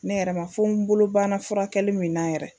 Ne yɛrɛ ma fɔ n bolo banna furakɛli min na yɛrɛ